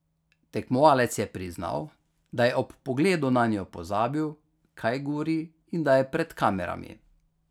Tekmovalec je priznal, da je ob pogledu nanjo pozabil, kaj govori in da je pred kamerami.